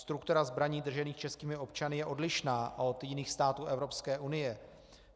Struktura zbraní držených českými občany je odlišná od jiných států Evropské unie.